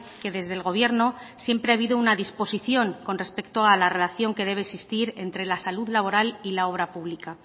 que desde el gobierno siempre ha habido una disposición con respecto a la relación que debe existir entre la salud laboral y la obra pública